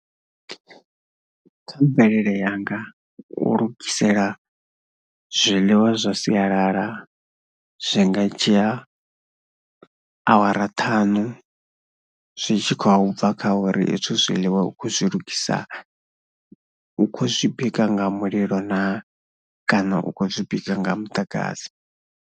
Kha mvelele yanga u lugisela zwiḽiwa zwa sialala zwi nga dzhia awara thaṋu zwi tshi khou bva kha uri hezwi zwiḽiwa u khou zwi lugisa, u khou zwi bika nga mulilo naa kana u khou zwi bika nga muḓagasi.